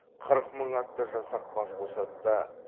қырық мың атты жасақ бас қосады да